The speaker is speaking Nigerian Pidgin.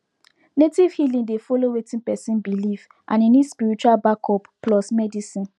native healing dey follow wetin person believe and e need spiritual backup plus medicine